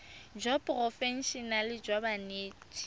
jwa seporofe enale jwa banetshi